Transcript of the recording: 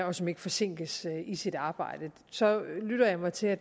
og som ikke forsinkes i sit arbejde så lyttede jeg mig til at